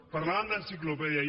parlàvem d’enciclopèdia